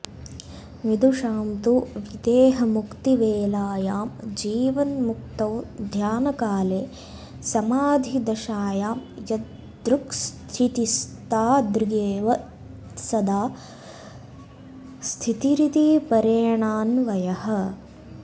विदुषां तु विदेहमुक्तिवेलायां जीवन्मुक्तौ ध्यानकाले समाधिदशायां यादृक्स्थितिस्तादृगेव सदा स्थितिरिति परेणान्वयः